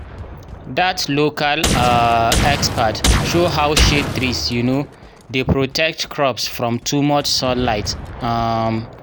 dat local um expert show how shade trees um dey protect crops from too much sunlight um